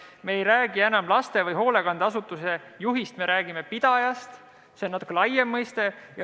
Me ei räägi enam laste- või hoolekandeasutuse juhist, vaid räägime pidajast, see on natuke laiem mõiste.